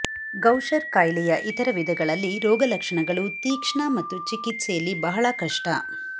Gaucher ಕಾಯಿಲೆಯ ಇತರ ವಿಧಗಳಲ್ಲಿ ರೋಗಲಕ್ಷಣಗಳು ತೀಕ್ಷ್ಣ ಮತ್ತು ಚಿಕಿತ್ಸೆಯಲ್ಲಿ ಬಹಳ ಕಷ್ಟ